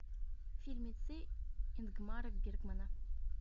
фильмецы ингмара бергмана